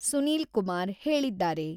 ಸುನೀಲ್ ಕುಮಾರ್ ಹೇಳಿದ್ದಾರೆ.